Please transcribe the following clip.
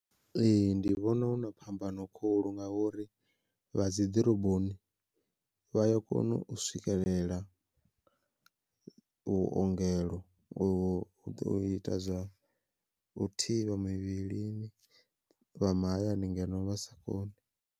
Ee ndi vhona huna phambano khulu ngauri vha dzi ḓoroboni vha ya kona u swikelela vhuongelo u ita zwa u thivha mivhilini, vha mahayani ngeno vha sa koni.